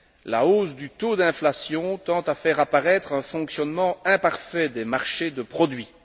la hausse du taux d'inflation tend à faire apparaître un fonctionnement imparfait des marchés de produits.